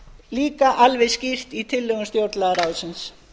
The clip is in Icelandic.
líka alveg skýrt í tillögum stjórnlagaráðsins